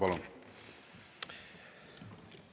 Palun!